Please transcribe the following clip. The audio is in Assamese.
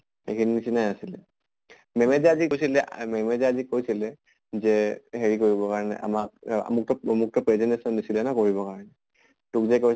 সেইখিনি নিছিনাই আছিলে। ma'am য়ে যে আজি কৈছিলে ma'am য়ে যে আজি কৈছিলে যে হেৰি কৰিব কাৰণে আমাক মোক ত মোক ত presentation দিছিলে ন কৰিব কাৰণে। তোক যে কৈ